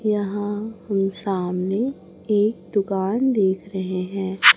यहां हम सामने एक दुकान देख रहे हैं।